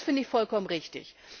Das finde ich vollkommen richtig.